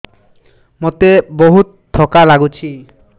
ମୋତେ ବହୁତ୍ ଥକା ଲାଗୁଛି